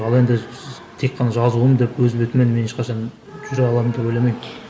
ал енді тек қана жазуым деп өз бетіммен мен ешқашан жүре аламын деп ойламаймын